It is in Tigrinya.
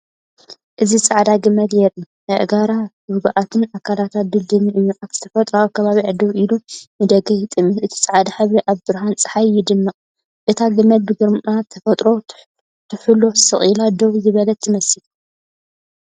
እዚ ጻዕዳ ገመል የርኢ። ኣእጋራ ርጉኣትን ኣካላታ ድልዱልን እዩ፣ ኣብ ተፈጥሮኣዊ ከባቢኣ ደው ኢሉ ንደገ ይጥምት። እቲ ጻዕዳ ሕብሪ ኣብ ብርሃን ጸሓይ ይደምቕ፤ እታ ገመል ብግርማ ተፈጥሮ ትሕሎ ስቕ ኢላ ደው ዝበለት ትመስል።